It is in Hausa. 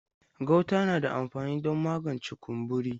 Gauta na da amfani don magance kumburi.